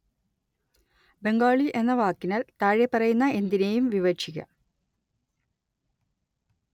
ബംഗാളി എന്ന വാക്കിനാല്‍ താഴെപ്പറയുന്ന എന്തിനേയും വിവക്ഷിക്കാം